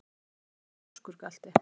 Af hverju ertu svona þrjóskur, Galti?